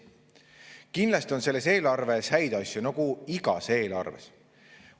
Kindlasti on selles eelarves häid asju, nagu igas eelarves.